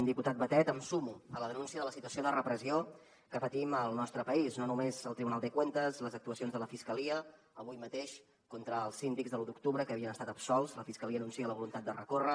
diputat batet em sumo a la denúncia de la situació de repressió que patim al nostre país no només el tribunal de cuentas les actuacions de la fiscalia avui mateix contra els síndics de l’u d’octubre que havien estat absolts la fiscalia anuncia la voluntat de recórrer